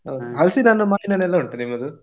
ಹಲಸಿನ ಹಣ್ಣು, ಮಾವಿನಣ್ಣು ಎಲ್ಲ ಉಂಟಾ ನಿಮ್ಮದು?